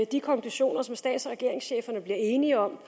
de konklusioner som stats og regeringscheferne bliver enige om